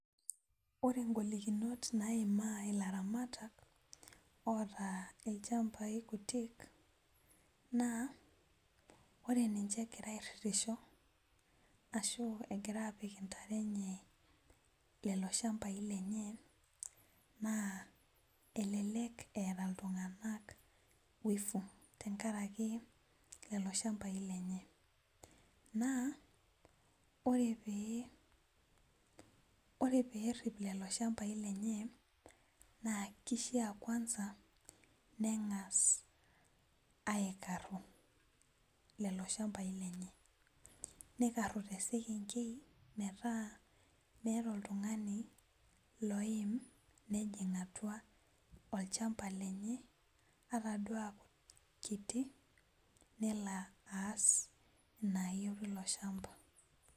Ore ingolikinot naimaa ilaramatak oota ilchambai kutik naa ore ninche egira airritisho ashu egira apik intare enye lelo shambai lenye naa elelek eeta iltung'anak wivu tenkaraki lelo shambai lenye naa ore pee, ore perrip lelo shambai lenye naa kishia kwanza neng'as aikarru lelo shambai lenye nikarru tesekenkei metaa meeta oltung'ani loim nejing atua olchamba lenye ataduo akiti nelo aas inayieu tilo shamba.